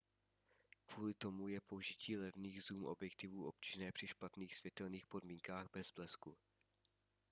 kvůli tomu je použití levných zoom objektivů obtížné při špatných světelných podmínkách bez blesku